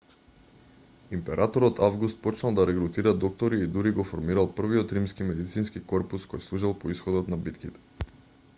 императорот август почнал да регрутира доктори и дури го формирал првиот римски медицински корпус кој служел по исходот на битките